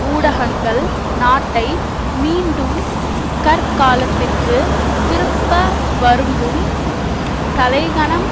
ஊடகங்கள் நாட்டை மீண்டும் கற்காலத்திற்கு திருப்ப விரும்பும் தலைக்கனம்